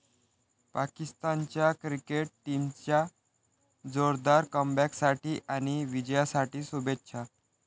पाकिस्तानच्या क्रिकेट टीमच्या जोरदार कमबॅकसाठी आणि विजयासाठी शुभेच्छा.